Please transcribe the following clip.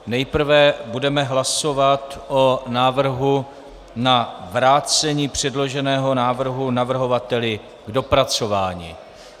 Nejprve budeme hlasovat o návrhu na vrácení předloženého návrhu navrhovateli k dopracování.